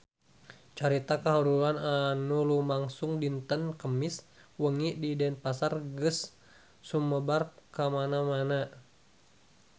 Carita kahuruan anu lumangsung dinten Kemis wengi di Denpasar geus sumebar kamana-mana